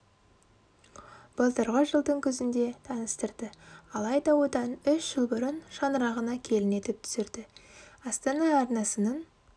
былтырғы жылдың күзінде таныстырды алайда одан үш жыл бұрын шаңырағына келін етіп түсірді астана арнасының